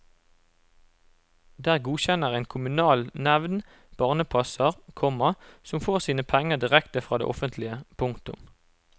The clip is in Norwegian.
Der godkjenner en kommunal nevnd barnepasser, komma som får sine penger direkte fra det offentlige. punktum